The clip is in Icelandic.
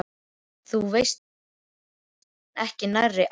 Þú veist auðvitað ýmislegt en ekki nærri allt.